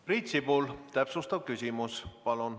Priit Sibul, täpsustav küsimus palun.